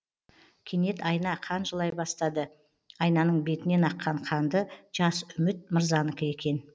кенет айна қан жылай бастады айнаның бетінен аққан қанды жас үміт мырзанікі екен